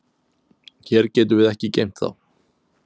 Hér getum við ekki geymt þá.